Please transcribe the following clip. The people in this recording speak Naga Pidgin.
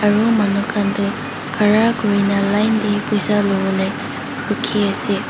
aro manu kanto khara kurikina line teh poisa lovole rukhi ase.